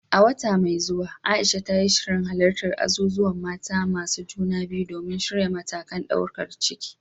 A wata mai zuwa, Aisha ta yi shirin halartar azuzuwan mata masu juna biyu domin shirya matakan daukar ciki.